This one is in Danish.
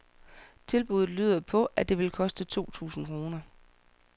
Tilbuddet lyder på, at det vil koste to tusind kroner.